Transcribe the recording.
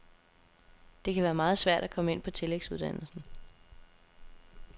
Det kan være meget svært at komme ind på tillægsuddannelsen.